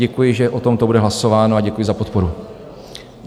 Děkuji, že o tomto bude hlasováno, a děkuji za podporu.